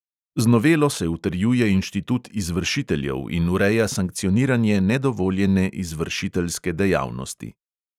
Z novelo se utrjuje inštitut izvršiteljev in ureja sankcioniranje nedovoljene izvršiteljske dejavnosti.